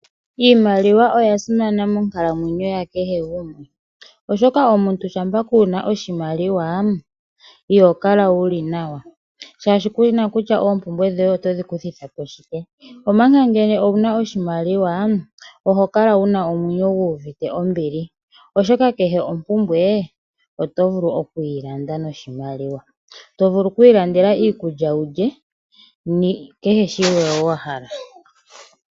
Iimaliwa oya simana monkalamwenyo ya kehe gumwe, oshoka omuntu ngele kuna oshimaliwa iho kala wuli nawa, oshoka kuna kutya oompumbwe dhoye kuna kutya oompumbwe otodhi gwanithile po nashike, omanga ngele wuna oshimaliwa oti kala wuna omwenyo guna ombili. Oto vulu okwiilandela iikulya walye kehe shimwe wa hala.